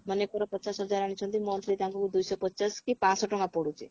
ମନେକର ପଚାଶ ହଜାର ଆଣିଛନ୍ତି monthly ତାଙ୍କୁ ଦୁଇଶହ ପଚାଶ କି ପାଞ୍ଚଶହ ଟଙ୍କା ପଡୁଛି